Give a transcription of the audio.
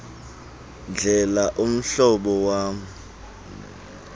ndlela umhlobo wam